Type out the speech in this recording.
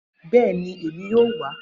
Bẹẹni, Emi yoo wa.